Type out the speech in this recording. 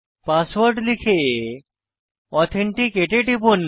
password লিখে authenticate এ টিপুন